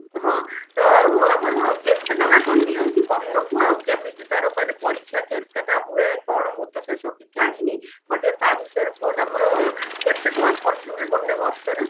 ହଁ ତ ଆଉ ଆମର କେଟେଟଙ୍କା କଣ ନିଅନ୍ତି ବର୍ଷକୁ ଆଉ କେମିତି ତାର ମାନେ ପରୀକ୍ଷା କେତେଟା ହୁଏ କଣ ମୁଁ ତ ସେସବୁ କିଛି ଜାଣିନି ମୋତେ ଟିକେ ତା ବିଷୟରେ କୁହନା ମୋର କେତେ ଟଙ୍କା ଖର୍ଚ ହୁଏ ଗୋଟେ ବର୍ଷରେ?